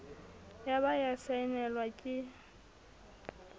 ya ba ya saenelwa ke